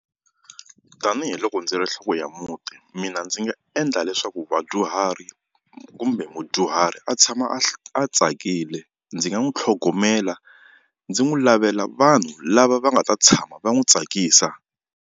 Tanihiloko ndzi ri nhloko ya muti mina ndzi nga endla leswaku vadyuhari kumbe mudyuhari a tshama a tsakile ndzi nga n'wi tlhogomela ndzi n'wi lavela vanhu lava va nga ta tshama va n'wi tsakisa.